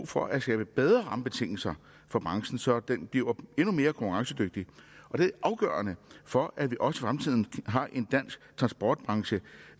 for at skabe bedre rammebetingelser for branchen så den bliver endnu mere konkurrencedygtig det er afgørende for at vi også i fremtiden har en dansk transportbranche